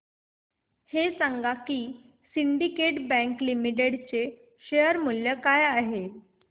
हे सांगा की सिंडीकेट बँक लिमिटेड चे शेअर मूल्य काय आहे